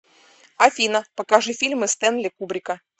афина покажи фильмы стэнли кубрика